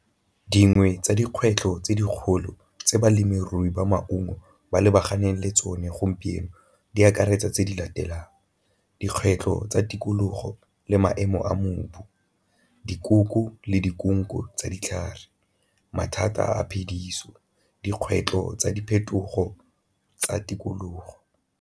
Dingwe tsa dikgwetlho tse dikgolo tse balemirui ba maungo ba lebaganeng le tsone gompieno di akaretsa tse di latelang, dikgwetlho tsa tikologo le maemo a mobu, dikoko le tsa ditlhare, mathata a phediso, dikgwetlho tsa diphetogo tsa tikologo.